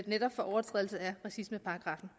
netop overtrædelse af racismeparagraffen